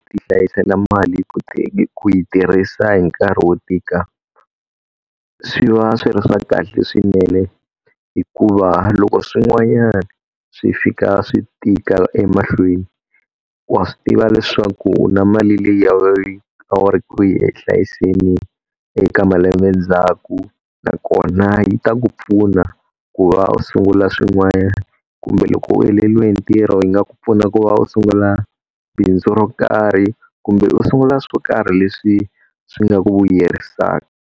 Ku ti hlayisela mali ku yi tirhisa hi nkarhi wo tika, swi va swi ri swa kahle swinene hikuva loko swin'wanyana swi fika swi tika emahlweni, wa swi tiva leswaku u na mali leyi a wu ri ku yi hlayiseni eka malembe ndzhaku. Nakona yi ta ku pfuna ku va u sungula swin'wana, kumbe loko u heleliwe hi ntirho yi nga ku pfuna ku va u sungula bindzu ro karhi kumbe u sungula swo karhi leswi swi nga ku vuyerisaka.